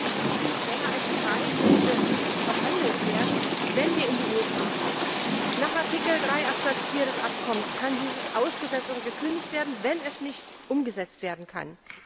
Und ich sage, wir dürfen nicht länger als Freiwild behandelt werden, wenn wir in die USA kommen. Nach Artikel 3 Absatz 4 des Abkommens kann dieses ausgesetzt oder gekündigt werden, wenn es nicht umgesetzt werden kann.